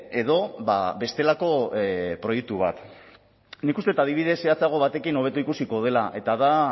edo bestelako proiektu bat nik uste dut adibidez zehatzago batekin hobeto ikusiko dela eta da